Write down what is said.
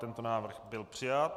Tento návrh byl přijat.